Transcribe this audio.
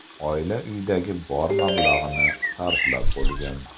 Oila uyidagi bor mablag‘ni sarflab bo‘lgan.